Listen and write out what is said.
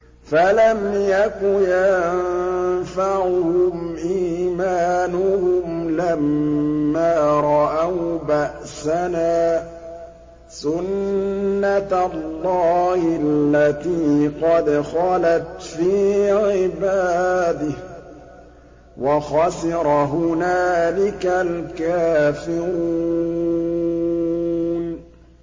فَلَمْ يَكُ يَنفَعُهُمْ إِيمَانُهُمْ لَمَّا رَأَوْا بَأْسَنَا ۖ سُنَّتَ اللَّهِ الَّتِي قَدْ خَلَتْ فِي عِبَادِهِ ۖ وَخَسِرَ هُنَالِكَ الْكَافِرُونَ